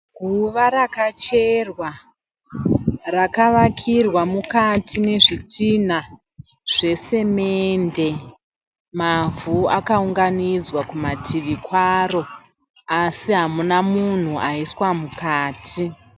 Guva rakacherwa rakavakirwa mukati nezvitinha zvesemende . Mavhu akaunganidzwa kumativi kwaro asi hamuna munhu aiswa mukati .